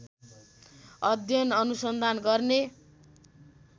अध्ययन अनुसन्धान गर्ने